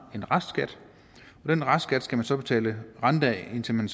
en restskat og den restskat skal man så betale rente af indtil man